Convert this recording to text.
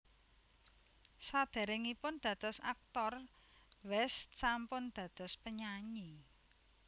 Saderengipun dados aktor West sampun dados penyanyi